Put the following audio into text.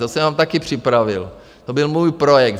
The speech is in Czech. To jsem vám taky připravil, to byl můj projekt.